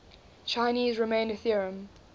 chinese remainder theorem